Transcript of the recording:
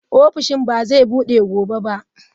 Ofishin ba zai bude gobe ba.